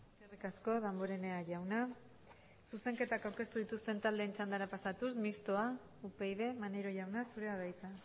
eskerrik asko damborenea jauna zuzenketak aurkeztu dituzten taldeen txandara pasatuz mistoa upyd maneiro jauna zurea da hitza